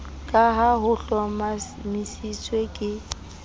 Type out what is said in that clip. ka ha ho hlomamisitswe ke